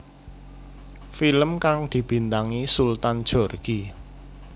Film kang dibintangi Sultan Djorghi